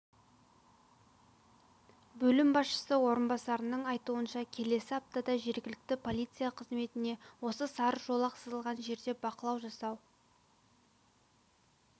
бөлім басшысы орынбасарының айтуынша келесі аптада жергілікті полиция қызметіне осы сары жолақ сызылған жерде бақылау жасау